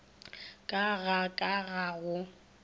ka ga ka ga go